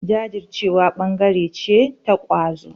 Jajircewa ɓangare ce ta ƙwazo.